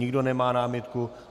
Nikdo nemá námitku.